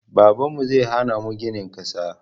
Babanmu zai hana mu ginin ƙasa